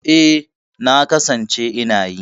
E, na kasance ina yi.